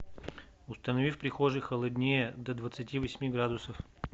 установи в прихожей холоднее до двадцати восьми градусов